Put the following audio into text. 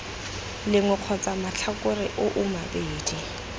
lengwe kgotsa matlhakore oo mabedi